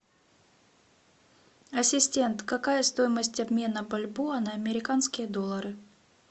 ассистент какая стоимость обмена бальбоа на американские доллары